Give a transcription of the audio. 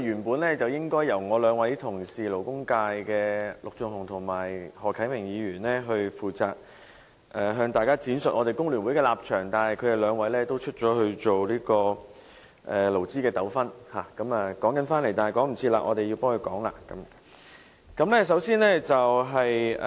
本來，應由我們勞工界的陸頌雄議員和何啟明議員負責向大家闡述我們工聯會的立場，但由於他們兩位出外處理勞資糾紛，來不及出席，所以便由我們代他們發言。